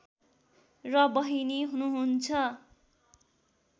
र बहिनी हुनुहुन्छ